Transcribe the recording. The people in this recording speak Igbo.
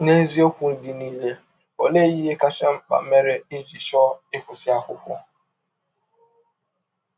N’eziọkwụ gị niile, ọlee ihe kacha mkpa mere i jị chọọ ịkwụsị akwụkwọ?